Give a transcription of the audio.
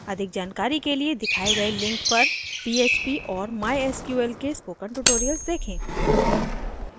अधिक जानकारी के लिए दिखाये गये link पर phpandmysql के spoken tutorials देखें